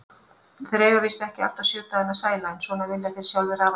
Þeir eiga víst ekki alltaf sjö dagana sæla, en svona vilja þeir sjálfir hafa það.